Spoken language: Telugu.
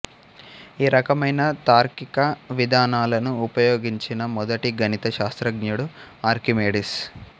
ఈ రకమైన తార్కిక విధానాలను ఉపయోగించిన మొదటి గణిత శాస్త్రజ్ఞుడు ఆర్కిమెడిస్